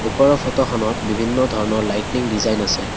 ওপৰৰ ফটোখনত বিভিন্ন ধৰণৰ লাইটিং ডিজাইন আছে।